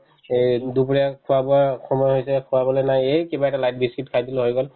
এই দুপৰীয়া খোৱা-বোৱাৰ সময় হৈছে খোৱা বোলে নাই এই কিবাকে light biscuit খাই দিলে হৈ গ'ল